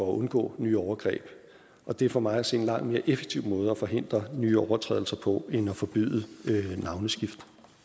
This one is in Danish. undgå nye overgreb og det er for mig at se en langt mere effektiv måde at forhindre nye overtrædelser på end at forbyde navneskift